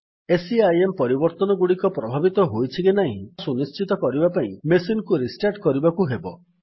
CIM ପରିବର୍ତ୍ତନଗୁଡିକ ପ୍ରଭାବିତ ହୋଇଛି କି ନାହିଁ ତାହା ସୁନିଶ୍ଚିତ କରିବା ପାଇଁ ମେସିନ୍ କୁ ରିଷ୍ଟାର୍ଟ କରିବାକୁ ହେବ